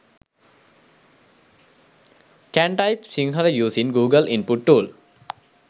can type sinhala using google input tool